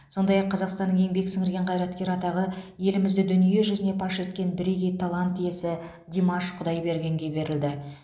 сондай ақ қазақстанның еңбек сіңірген қайраткері атағы елімізді дүние жүзіне паш еткен бірегей талант иесі димаш құдайбергенге берілді